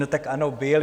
No tak ano, byl.